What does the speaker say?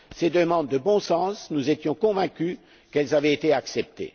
C'était des demandes de bon sens et nous étions convaincus qu'elles avaient été acceptées.